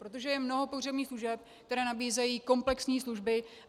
Protože je mnoho pohřebních služeb, které nabízejí komplexní služby.